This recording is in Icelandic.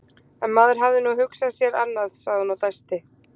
En maður hafði nú hugsað sér annað, sagði hún og dæsti.